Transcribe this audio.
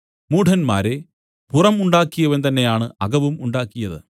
മൂഢന്മാരേ പുറം ഉണ്ടാക്കിയവൻ തന്നെ ആണ് അകവും ഉണ്ടാക്കിയത്